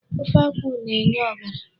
Ofe akwụ na-enye ọbara.